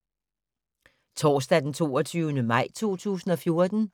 Torsdag d. 22. maj 2014